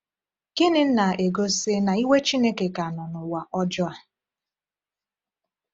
Gịnị na-egosi na iwe Chineke ka nọ n’ụwa ọjọọ a?